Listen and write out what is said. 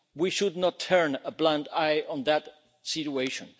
We should not turn a blind eye to that situation.